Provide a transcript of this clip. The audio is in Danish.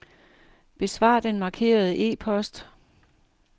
Besvar den markerede e-post.